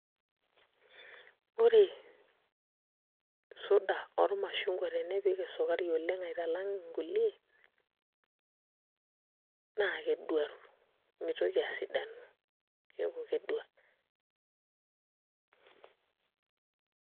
Ore suda ormashungwa tenipik esukari oleng' aitalang' nkulie naa keduaru mitoki asidanu keeku kedua.